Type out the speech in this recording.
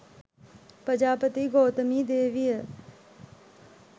ප්‍රජාපති ගෞතමී දේවිය